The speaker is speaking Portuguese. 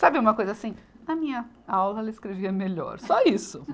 Sabe uma coisa assim, na minha aula ela escrevia melhor, só isso.